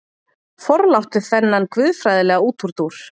Forláttu þennan guðfræðilega útúrdúr.